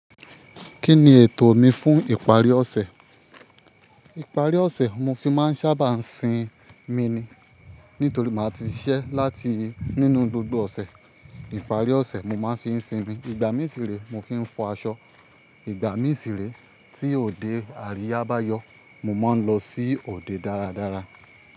Kí ni ètò mi fún ìparí ọ̀sẹ̀? Ìparí ọ̀sẹ̀ mo fi máa ń sábà ń sinmi ni nítorí màá ti ṣiṣẹ́ láti nínú gbogbo ọ̀sẹ̀. Ìparí ọ̀sẹ̀ mo máa ń fi ń sinmi. Ìgbà mìí sire mo fi ń fọ aṣọ. Ìgbà mìíràn tí òde àríyá bá yọ, mo máa ń lọ sí òde dáradára.